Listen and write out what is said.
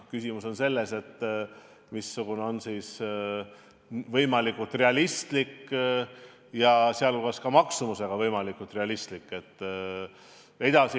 Küsimus on selles, missugune on võimalikult realistlik, sh maksumuse poolest võimalikult realistlik lahendus.